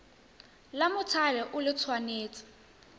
la mothale o le tshwanetse